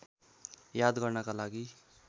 याद गर्नका लागि